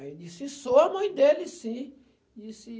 Aí disse, sou a mãe dele, sim. Disse